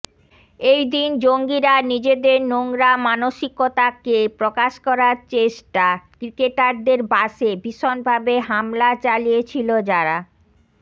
এই দিন জঙ্গীরা নিজেদের নোংরা মানসিকতাকে প্রকাশ করার চেষ্টা ক্রিকেটারদের বাসে ভীষণভাবে হামলা চালিয়েছিল যার